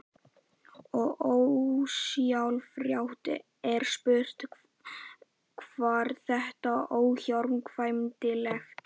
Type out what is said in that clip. Og ósjálfrátt er spurt: Var þetta óhjákvæmilegt?